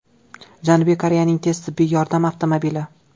Janubiy Koreyaning tez tibbiy yordam avtomobili.